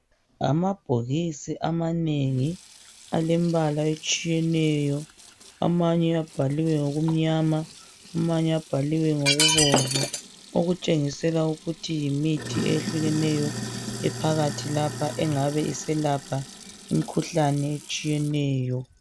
Amabhokisi amanengi alembala etshiyeneyo amanye abhaliwe ngoku mnyama, amanye abhaliwe ngoku bomvu. Okutshengisela ukuthi yimithi eyehlukeneyo ephakathi lapha engabe iselapha imkhuhlane etshiyeneyo.